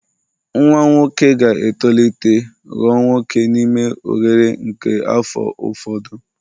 Nwa nwoke ga-etolite ghọọ nwoke n'ime oghere nke afọ ụfọdụ